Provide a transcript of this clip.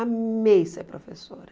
Amei ser professora.